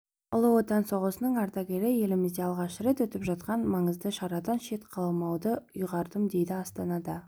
ұлы отан соғысының ардагері елімізде алғаш рет өтіп жатқан маңызды шарадан шет қалмауды ұйғардым дейді астанада